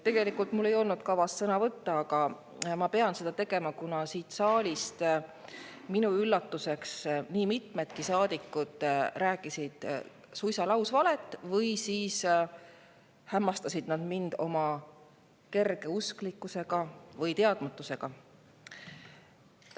Tegelikult ei olnud mul kavas sõna võtta, aga ma pean seda tegema, kuna siin saalis minu üllatuseks nii mitmedki saadikud rääkisid suisa lausvalet või hämmastasid mind oma kergeusklikkuse või teadmatusega.